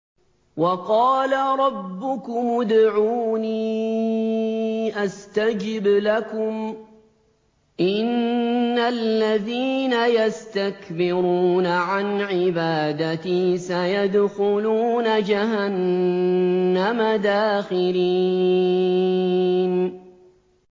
وَقَالَ رَبُّكُمُ ادْعُونِي أَسْتَجِبْ لَكُمْ ۚ إِنَّ الَّذِينَ يَسْتَكْبِرُونَ عَنْ عِبَادَتِي سَيَدْخُلُونَ جَهَنَّمَ دَاخِرِينَ